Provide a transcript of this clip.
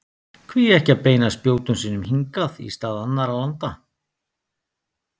Hví ekki að beina spjótum sínum hingað í stað annarra landa?